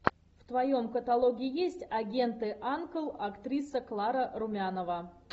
в твоем каталоге есть агенты анкл актриса клара румянова